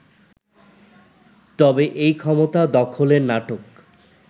তবে এই ক্ষমতা দখলের নাটক